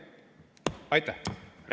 Aitäh!